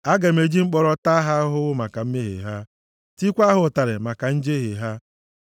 aga m eji mkpọrọ taa ha ahụhụ maka mmehie ha, tikwaa ha ụtarị maka njehie ha;